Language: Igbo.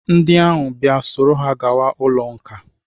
Ndị ahụ bịa, soro ha gawa ụlọ nkà!